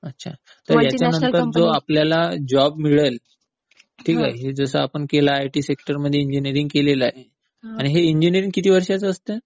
अच्छा तर ह्यांच्यानंतर जो आपल्याला जॉब मिळेल, ठीक आहे, हे जसं आपण केलं आयटी सेक्टर, त्यामध्ये इंजिनियरिंग केलेलं आहे, आणि हे इंजिनियरिंग किती वर्षाचं असतं?